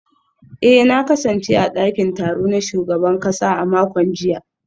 eh na kasance a dakin taro na shugaban kasa a makon jiya